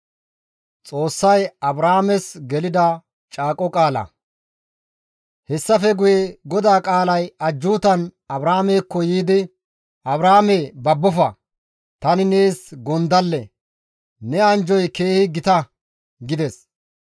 Hessafe guye GODAA qaalay ajjuutan Abraamekko yiidi, «Abraame, babbofa! Tani nees gondalle; ne anjjoy keehi gita» gides.